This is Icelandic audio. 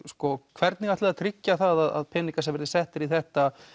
hvernig ætliði að tryggja það að peningar sem verði settir í þetta